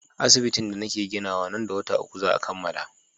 Asibitin da nake ginawa nan da wata uku za a kammala.